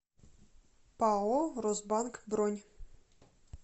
пао росбанк бронь